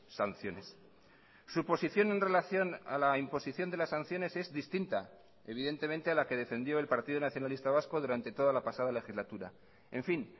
sanciones su posición en relación a la imposición de las sanciones es distinta evidentemente a la que defendió el partido nacionalista vasco durante toda la pasada legislatura en fin